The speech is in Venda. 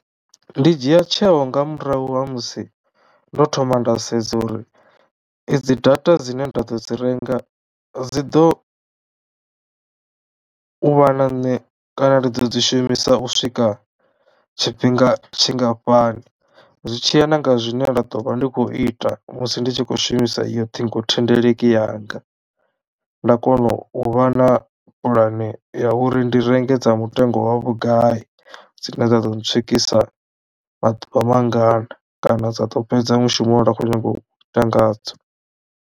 Ndi dzhia tsheo nga murahu ha musi ndo thoma nda sedza uri i dzi data dzine nda ḓo dzi renga dzi ḓo u vha na nṋe kana ndi ḓo dzi shumisa u swika tshifhinga tshingafhani zwi tshiya nanga zwine nda ḓo vha ndi khou ita musi ndi tshi khou shumisa iyo ṱhingothendeleki yanga, nda kono u vha na pulane ya uri ndi renge dza mutengo wa vhugai dzine dza ḓo ntswikisa maḓuvha mangana kana dza to fhedza mushumo une nda khou nyago u ita ngadzo.